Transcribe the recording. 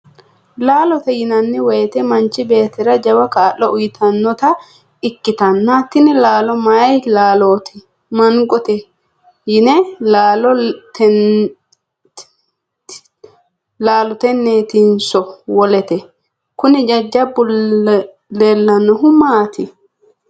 laalote yinanni wote manchi beettira jawa kaa'lo uyiitannota ikkitanna, tini laalo mayii laalooti? mangote yinani laalo tenneetinso wolete? kuni jajjabbu leellannohu maati?